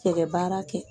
Cɛkɛ baara kɛ